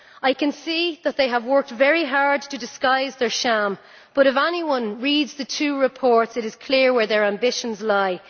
I can see that they have worked very hard to disguise their sham, but if anyone reads the two reports it is clear where their ambitions lie.